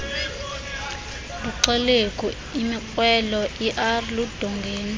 buxelegu imikrwelo erludongeni